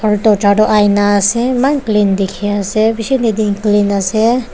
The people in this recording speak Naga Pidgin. aro tato ina ase eman clean dekhi ase bishi neat and clean ase.